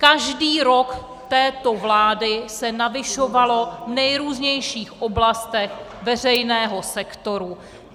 Každý rok této vlády se navyšovalo v nejrůznějších oblastech veřejného sektoru.